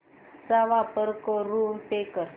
चा वापर करून पे कर